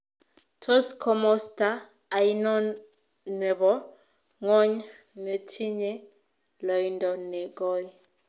Tos komosta ainon ne po ng'wony netinye loindo ne goi